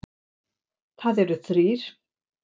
Þar eru þrír